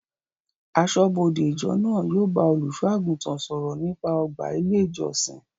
Aṣọ́bọdè ìjọ náà yóò bá olùsọ àgùntàn sọ̀rọ̀ nípa ọgbà ilé ìjọsìn